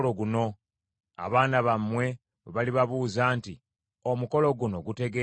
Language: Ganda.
Abaana bammwe bwe balibabuuza nti, ‘Omukolo guno gutegeeza ki?’